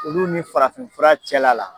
Olu ni farafinfura cɛla la.